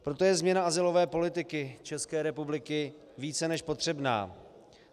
Proto je změna azylové politiky České republiky více než potřebná.